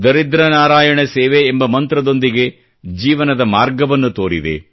ದರಿದ್ರ ನಾರಾಯಣ ಸೇವೆ ಎಂಬ ಮಂತ್ರದೊಂದಿಗೆ ಜೀವನದ ಮಾರ್ಗವನ್ನು ತೋರಿದೆ